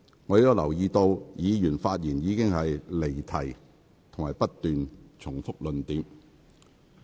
我留意到，議員發言時已出現離題及不斷重複論點。